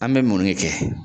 An be mun ne kɛ